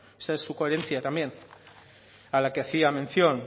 esa es su coherencia también a la que hacía mención